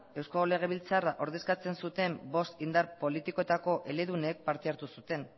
eusko legebiltzarrak ordezkatzen zuten bost indar politikoetako eledunek parte hartu zuten